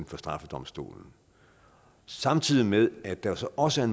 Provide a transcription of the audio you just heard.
for straffedomstolen samtidig med at der så også er